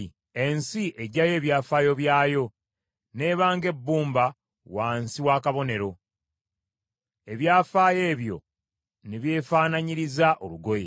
Ensi eggyayo ebyafaayo byayo n’eba ng’ebbumba wansi w’akabonero, ebyafaayo ebyo ne byefaananyiriza olugoye.